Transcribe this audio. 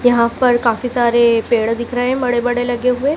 यहां पर काफी सारे पेड़ दिख रहें है बड़े बड़े लगे हुए--